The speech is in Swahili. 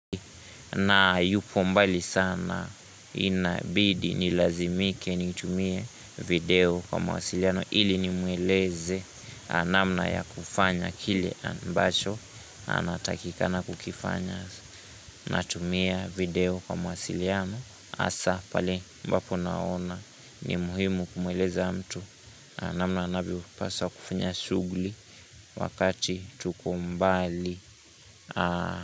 Na yupo mbali sana inabidi nilazimike nimtumie video kwa mawasiliano ili nimueleze namna ya kufanya kile ambacho Anatakikana kukifanya natumia video kwa mawasiliano hasa pale ambapo naona ni muhimu kumweleza mtu namna anavyopasa kufanya shughuli wakati tuko mbali.